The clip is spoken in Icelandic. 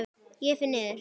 Ég fer niður.